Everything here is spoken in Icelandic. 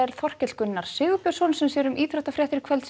Þorkell Gunnar Sigurbjörnsson sem sér um íþróttafréttir kvöldsins